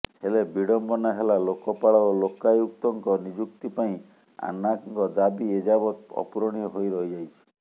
ହେଲେ ବିଡ଼ମ୍ବନା ହେଲା ଲୋକପାଳ ଓ ଲୋକାୟୁକ୍ତଙ୍କ ନିଯୁକ୍ତି ପାଇଁ ଆନ୍ନାଙ୍କ ଦାବି ଏଯାବତ୍ ଅପୂରଣୀୟ ହୋଇ ରହଯାଇଛି